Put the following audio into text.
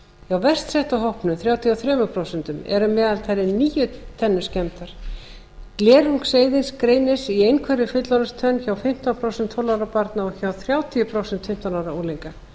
verst setta hópnum þrjátíu og þrjú prósent eru að meðaltali níu tennur skemmdar glerungseyðing greinist í einhverri fullorðinstönn hjá fimmtán prósent tólf ára barna og hjá þrjátíu prósent fjórtán ára unglinga